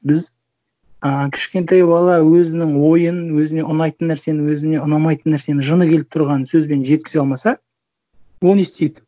біз ыыы кішкентай бала өзінің ойын өзіне ұнайтын нәрсені өзіне ұнамайтын нәрсені жыңы келіп тұрғанын сөзбен жеткізе алмаса ол не істейді